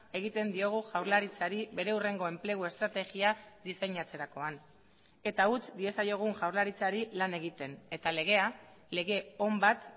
egiten diogu jaurlaritzari bere hurrengo enplegu estrategia diseinatzerakoan eta utz diezaiogun jaurlaritzari lan egiten eta legea lege on bat